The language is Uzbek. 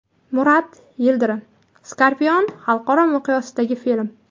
Murat Yildirim: Scorpion xalqaro miqyosdagi film.